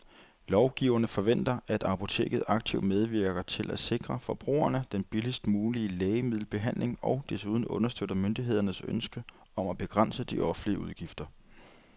Lovgiverne forventer, at apoteket aktivt medvirker til at sikre forbrugerne den billigst mulige lægemiddelbehandling og desuden understøtter myndighedernes ønske om at begrænse de offentlige udgifter.